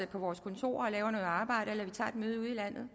på vores kontorer og laver noget arbejde eller vi tager et møde ude i landet